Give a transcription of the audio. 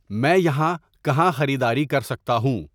میں یہاں کہاں خریداری کر سکتا ہوں